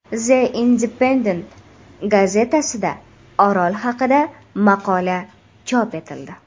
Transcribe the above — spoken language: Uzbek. The Independent gazetasida Orol haqida maqola chop etildi.